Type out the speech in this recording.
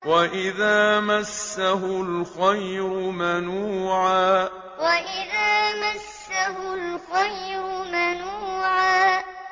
وَإِذَا مَسَّهُ الْخَيْرُ مَنُوعًا وَإِذَا مَسَّهُ الْخَيْرُ مَنُوعًا